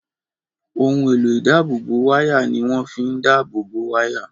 Ohun èlò ìdáàbòbò wáyà ni wọ́n fi ń dáàbò bo wáyà